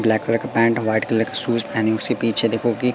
black colour का pant और white colour का शूज पहनी उसके पीछे देखो कि--